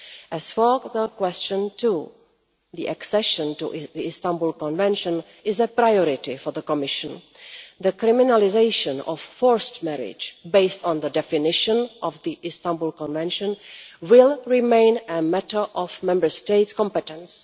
As for question 2, accession to the Istanbul Convention is a priority for the Commission. The criminalisation of forced marriage based on the definition of the Istanbul Convention will remain a matter of Member State competence.